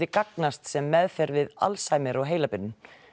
gagnast sem meðferð við Alzheimer og heilabilun